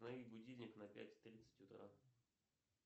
установи будильник на пять тридцать утра